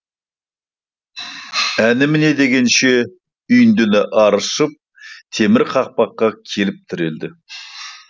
әні міне дегенше үйіндіні аршып темір қақпаққа келіп тірелді